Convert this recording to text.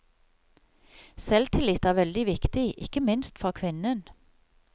Selvtillit er veldig viktig, ikke minst for kvinnen.